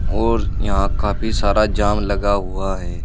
और यहां का भी सारा जाम लगा हुआ है।